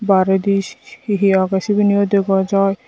o arey dis he he sebani o dega jai.